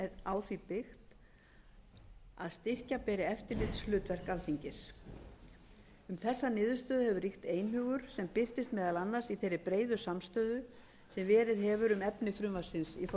á því byggt að styrkja beri eftirlitshlutverk alþingis um þessa niðurstöðu hefur ríkt einhugur sem birtist meðal annars í þeirri breiðu samstöðu sem verið hefur um efni frumvarpsins